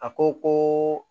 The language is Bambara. A ko ko